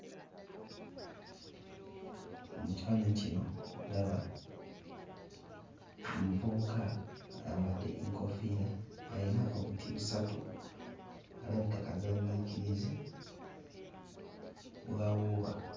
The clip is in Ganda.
Mu kifaananyi kino ndaba omuvubuka ayambadde enkoofiira ayina obuti busatu alabika kazannyiikirizi bw'awuuba.